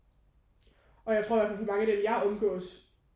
Og jeg tror i hvert fald for mange af dem jeg omgås